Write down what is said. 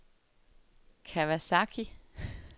Kawasaki